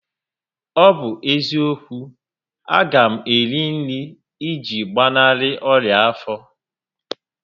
Ọ bụ eziokwu, a ga m eri nri iji gbanarị onya afọ